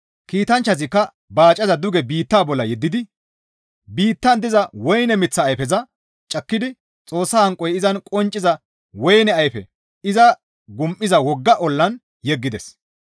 Kiitanchchazikka baacaza duge biitta bolla yeddidi biittan diza woyne miththa ayfeza cakkidi Xoossa hanqoy izan qoncciza woyne ayfe izan gum7iza wogga ollaan yeggides.